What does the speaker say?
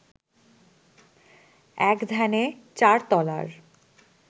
এক ধ্যানে চার তলার